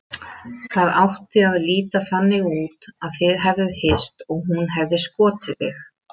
Það átti að líta þannig út að þið hefðuð hist og hún hefði skotið þig.